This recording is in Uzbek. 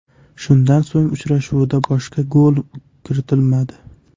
Shundan so‘ng, uchrashuvda boshqa gol kiritilmadi.